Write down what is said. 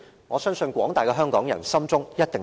我相信廣大的香港人一定心中有數。